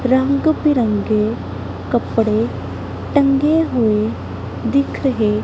ਰੰਗ ਬਿਰੰਗੇ ਕੱਪੜੇ ਟੰਗੇ ਹੋਏ ਦਿਖ ਰਹੇ--